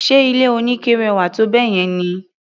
Ṣe ilé oníke rẹwà tó báyẹn ni?